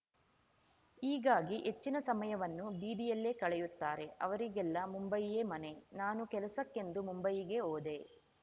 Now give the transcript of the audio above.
ಹೀಗಾಗಿ ಹೆಚ್ಚಿನ ಸಮಯವನ್ನು ಬೀದಿಯಲ್ಲೇ ಕಳೆಯುತ್ತಾರೆ ಅವರಿಗೆಲ್ಲ ಮುಂಬಯಿಯೇ ಮನೆ ನಾನು ಕೆಲಸಕ್ಕೆಂದು ಮುಂಬಯಿಗೆ ಹೋದೆ